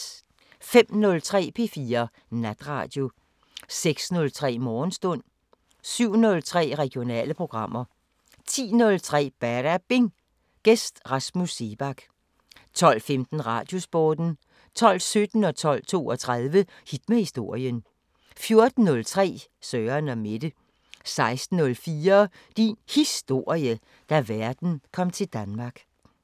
05:03: P4 Natradio 06:03: Morgenstund 07:03: Regionale programmer 10:03: Badabing: Gæst Rasmus Seebach 12:15: Radiosporten 12:17: Hit med historien 12:32: Hit med historien 14:03: Søren & Mette 16:04: Din Historie – Da verden kom til Danmark